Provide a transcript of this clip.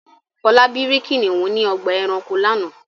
Fọlábí rí kìnnìún ní ọgbà-ẹranko lánàá.